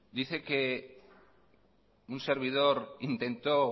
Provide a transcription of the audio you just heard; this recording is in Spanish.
dice que un servidor intentó